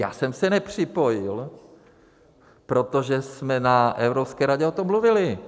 Já jsem se nepřipojil, protože jsme na Evropské radě o tom mluvili.